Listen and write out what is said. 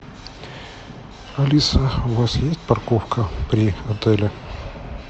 алиса у вас есть парковка при отеле